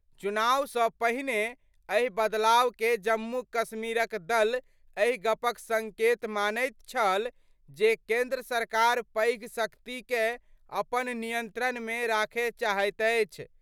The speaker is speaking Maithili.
चुनाव सं पहिने एहि बदलाव कए जम्मू कश्मीर क दल एहि गप क संकेत मानैत छल जे केंद्र सरकार पैघ शक्ति कए अपन नियंत्रण मे राखय चाहैत अछि।